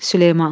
Süleyman!